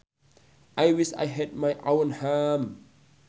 I wish I had my own home